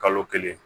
Kalo kelen